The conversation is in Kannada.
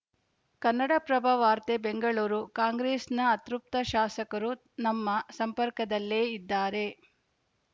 ಕನ್ನಡಪ್ರಭ ವಾರ್ತೆ ಬೆಂಗಳೂರು ಕಾಂಗ್ರೆಸ್‌ನ ಅತೃಪ್ತ ಶಾಸಕರೂ ನಮ್ಮ ಸಂಪರ್ಕದಲ್ಲೇ ಇದ್ದಾರೆ